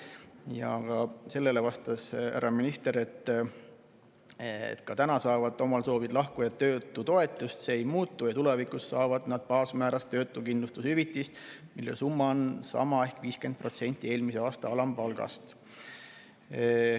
Sellele vastas härra minister, et ka täna saavad omal soovil lahkujad töötutoetust, see ei muutu, ja tulevikus saavad nad baasmääras töötuskindlustushüvitist, mille summa on sama ehk 50% eelmise aasta alampalgast.